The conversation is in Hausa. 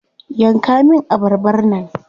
Yanka min abarbar nan.